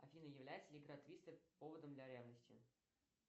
афина является ли игра твистер поводом для ревности